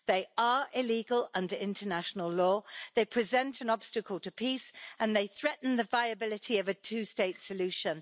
They are illegal under international law, they present an obstacle to peace, and they threaten the viability of a two state solution.